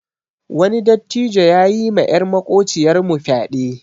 Wani dattijo yayi ma yar makociyar mu fyaɗe.